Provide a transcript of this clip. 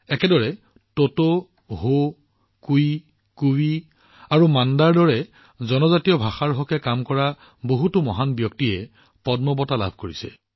একেদৰে টোটো হো কুই কুভি আৰু মাণ্ডাৰ দৰে জনজাতীয় ভাষাত কাম কৰা বহুতো মহান ব্যক্তিয়ে পদ্ম বঁটা লাভ কৰিছে